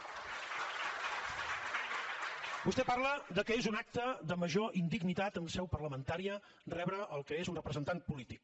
vostè parla que és un acte de major indignitat en seu parlamentària rebre el que és un representant polític